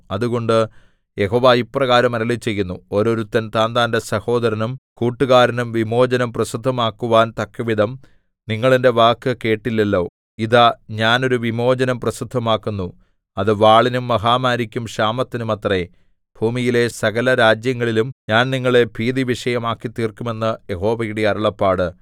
അതുകൊണ്ട് യഹോവ ഇപ്രകാരം അരുളിച്ചെയ്യുന്നു ഓരോരുത്തൻ താന്താന്റെ സഹോദരനും കൂട്ടുകാരനും വിമോചനം പ്രസിദ്ധമാക്കുവാൻ തക്കവിധം നിങ്ങൾ എന്റെ വാക്കു കേട്ടില്ലല്ലോ ഇതാ ഞാൻ ഒരു വിമോചനം പ്രസിദ്ധമാക്കുന്നു അത് വാളിനും മഹാമാരിക്കും ക്ഷാമത്തിനുമത്രേ ഭൂമിയിലെ സകലരാജ്യങ്ങളിലും ഞാൻ നിങ്ങളെ ഭീതിവിഷയമാക്കിത്തീർക്കും എന്ന് യഹോവയുടെ അരുളപ്പാട്